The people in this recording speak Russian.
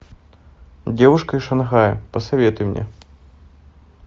девушка из шанхая посоветуй мне